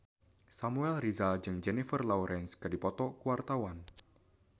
Samuel Rizal jeung Jennifer Lawrence keur dipoto ku wartawan